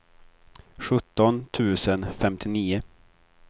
sjutton tusen femtionio